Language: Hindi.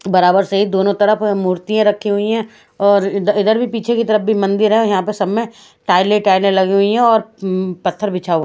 बराबर से दोनों तरफ है मुर्तीया रखी हुई है और इधा इधर भी पीछे की तरफ भी मंदिर है यहाँ पे सब में टाइल टाइले लगी हुई है और उम पत्थर बिछा हुआ --